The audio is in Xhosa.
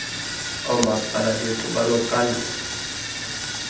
oomaspala bethu banoxanduva